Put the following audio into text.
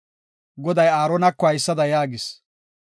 Goday Aaronako haysada yaagis;